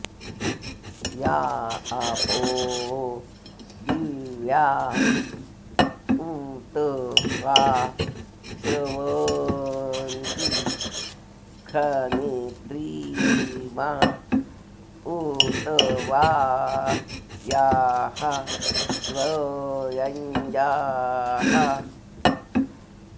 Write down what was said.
या आपो॑ दि॒व्या उ॒त वा॒ स्रव॑न्ति ख॒नित्रि॑मा उ॒त वा॒ याः स्व॑यं॒जाः